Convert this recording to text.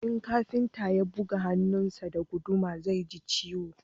in kafinta ya buga hannun sa da guduma zai ji ciwo